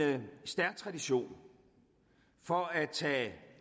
stærk tradition for at tage